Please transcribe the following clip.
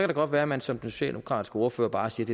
det godt være at man som den socialdemokratiske ordfører bare siger at